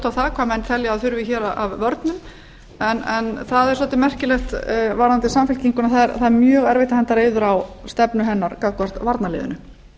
á það hvað menn telja að þurfi hér af vörnum en það er svolítið merkilegt varðandi samfylkinguna að það er mjög erfitt að henda reiður á stefnu hennar gagnvart varnarliðinu